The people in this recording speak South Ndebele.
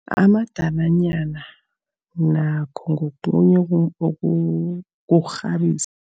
Amadalanyana nakho ngokhunye kokukghabisa.